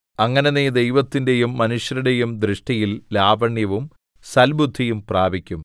അങ്ങനെ നീ ദൈവത്തിന്റെയും മനുഷ്യരുടെയും ദൃഷ്ടിയിൽ ലാവണ്യവും സൽബുദ്ധിയും പ്രാപിക്കും